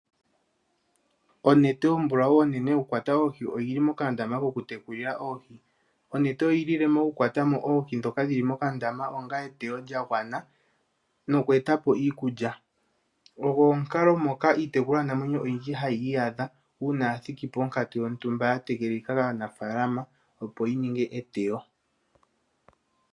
Onete ombulawu onene yokukwata oohi oyi li mokandama kokutekulila oohi. Onete oyi lile mo okukwata mo oohi ndhoka dhi li mokandama onga eteyo lya gwana noku eta po iikulya. Ogo omukalo ngoka iitekulwanamwenyo oyindji hayi iyadha uuna ya thiki ponkatu yontumba ya tegelelika kaanafaalama, opo yi ninge eteyo.